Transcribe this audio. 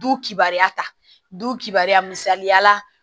Du kibaruya ta du kibaya misaliyala